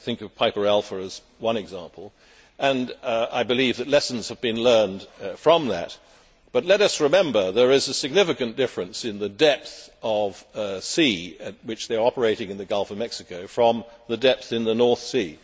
I think of Piper Alpha as one example, and I believe that lessons have been learned from that. But let us remember that there is a significant difference between the depth of sea in which they are operating in the Gulf of Mexico and the depth of the North Sea.